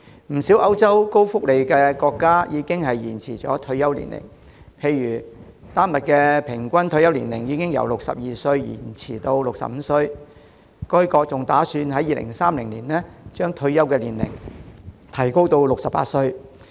不少歐洲高福利國家已延展退休年齡，例如丹麥的平均退休年齡已從62歲延展至65歲，該國還打算在2030年將退休年齡提高至68歲。